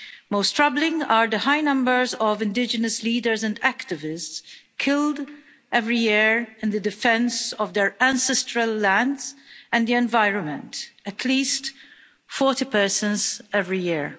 Most troubling are the high numbers of indigenous leaders and activists killed every year in the defence of their ancestral lands and the environment at least 40 persons every year.